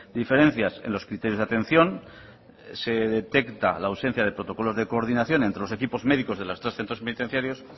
diferencias en los criterios de atención se detecta la ausencia de protocolos de coordinación entre los equipos médicos de los tres centros penitenciarios